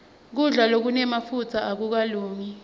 kudla lokunemafutsa akukalungi